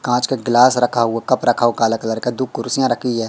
कांच का गिलास रखा हुआ कप रखा हुआ काला कलर का दो कुर्सियां रखी है।